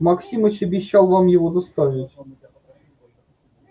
максимыч обещал вам его доставить